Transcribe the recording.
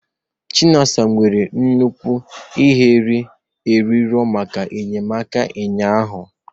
Chinasa nwere nnukwu ihere ịrịọ maka enyemaka ụnyaahụ